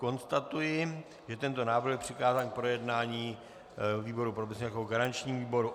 Konstatuji, že tento návrh byl přikázán k projednání výboru pro bezpečnost jako garančnímu výboru.